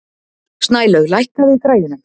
Snælaug, lækkaðu í græjunum.